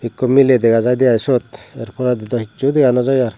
ekku miley dega jaide siot se poredi do hichu dega no jai aar.